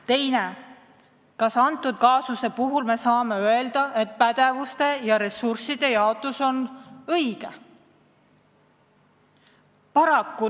Teiseks: kas me saame selle kaasuse puhul öelda, et pädevuste ja ressursside jaotus on õige?